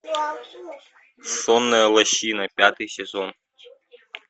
сонная лощина пятый сезон